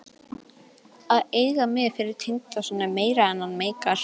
Að eiga mig fyrir tengdason er meira en hann meikar.